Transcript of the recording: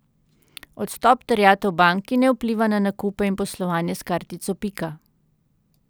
Odstop terjatev banki ne vpliva na nakupe in poslovanje s kartico Pika.